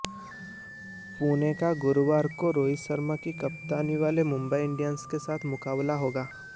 पुणे का गुरुवार को रोहित शर्मा की कप्तानी वाली मुंबई इंडियंस के साथ मुकाबला होगा